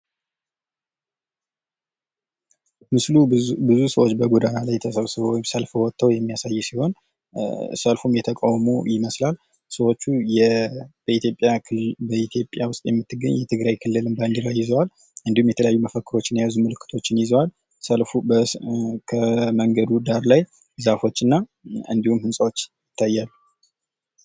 ምስሉ ብዙ ሰዎች በጎዳና ላይ ተሰብስበው ወይም ሰልፍ ወተው የሚያሳይ ሲሆን ሰልፉም የተቃውሞ ይመስላል። ሰዎቹ በኢትዮጵያ ውስጥ የምትገኝ የትግራይ ክልልን ባዲራ ይዘዋል እንዲሁም የተለያዩ መፈክሮችን የያዙ ምልክቶችን ይዘዋል። ከመንገዱ ዳር ላይ ዛፎችና እንዲሁም ህንፃዎች ይታያሉ።